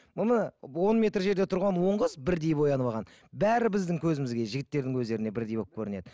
бұны он метр жерде тұрған он қыз бірдей боянып алған бәрі біздің көзімізге жігіттердің көздеріне бірдей болып көрінеді